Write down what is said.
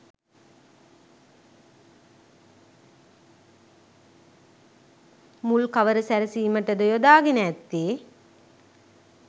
මුල් කවර සැරසීමටද යොදාගෙන ඇත්තේ